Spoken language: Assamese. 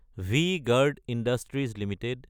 V-Guard industries Ltd